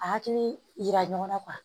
A hakili yira ɲɔgɔn na